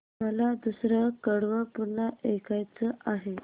मला दुसरं कडवं पुन्हा ऐकायचं आहे